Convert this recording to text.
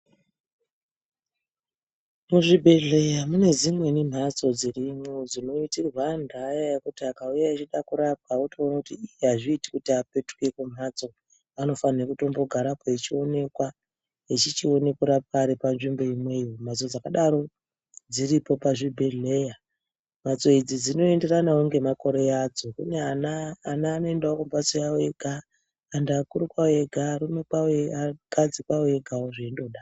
Muzvibhedhleya mune dzimweni mhatso dzirimwo dzinoitirwa anhu aya akauya eide kurapwa wotoone kuti ii azviiti kuti apetuke kumhatso anofanire kugarapo echionekwa kuti akone kurapwa ari panzvimbo imweyo mhatso dzakadaro dziripo pachibhedhlera mhatso dzakadaro dzin oenderanawo nemakore adzo kune ana ana anoendawo kumhatso yawo ega antu akuru kwawo ega arume kwawo akadzi kwawo egawo zveindodaro.